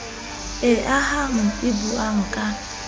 e ahang e buang ka